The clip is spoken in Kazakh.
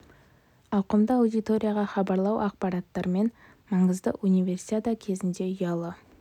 ауқымды аудиторияға хабарлау ақпараттармен жедел алмасу және шұғыл мәселелерді шешу үшін маңызды универсиада кезінде ұялы